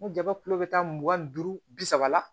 Ni jaba kule bɛ taa mugan ni duuru bi saba la